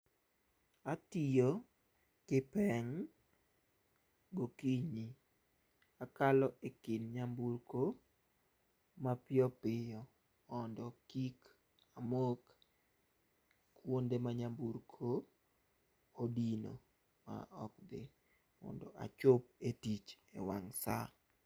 Atiyo gi peng' gokinyi. Akalo ekind nyamburko mapiyo piyo mondo kik amok kuonde ma nyamburko odino maok dhi mondo achop e tich ewang' saa.